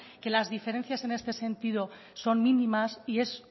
que las diferencias en este sentido son mínimas y es